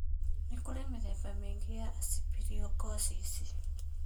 Nĩ kũrĩ mĩthemba mingĩ ya aspergillosis.